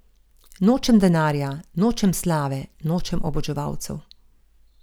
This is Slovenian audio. Nočem denarja, nočem slave, nočem oboževalcev.